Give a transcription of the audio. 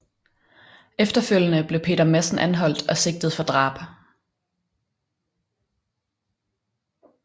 Efterfølgende blev Peter Madsen anholdt og sigtet for drab